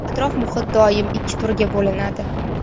Atrof muhit doim ikki turga bo‘linadi.